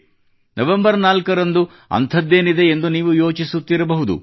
November 4ರಂದು ಅಂಥದ್ದೇನಿದೆ ಎಂದು ನೀವು ಯೋಚಿಸುತ್ತಿರಬಹುದು